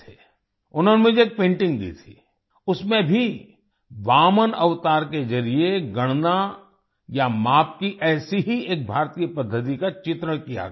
उन्होंने मुझे एक पेंटिंग दी थी उसमें भी वामन अवतार के जरिये गणना या माप की ऐसी ही एक भारतीय पद्धति का चित्रण किया गया था